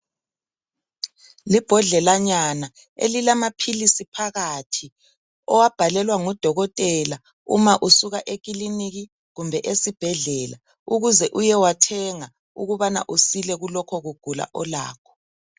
Libhodlelanyana elilamaphilisi phakathi, owabhalelwa ngodokotela uma usuka ekiliniki kumbe esibhedlela ukuze uyewathenga ukubana usile kulokho kugula olakho.